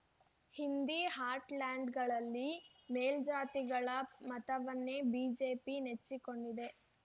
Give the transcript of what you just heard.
ಹಿಂದಿ ಹಾರ್ಟ್‌ಲ್ಯಾಂಡ್‌ಗಳಲ್ಲಿ ಮೇಲ್ಜಾತಿಗಳ ಮತವನ್ನೇ ಬಿಜೆಪಿ ನೆಚ್ಚಿಕೊಂಡಿದೆ